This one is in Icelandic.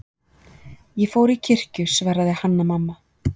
Ég fór í kirkju, svaraði Hanna-Mamma.